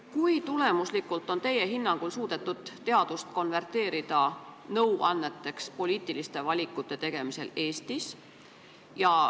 Kui tulemuslikult on teie hinnangul suudetud Eestis teadust konverteerida nõuanneteks poliitiliste valikute tegemisel?